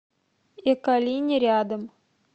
эколини рядом